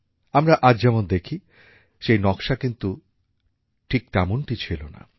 আমরা আজ যেমন দেখি সেই নকশা কিন্তু ঠিক তেমনটি ছিল না